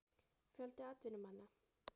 Fjöldi atvinnumanna?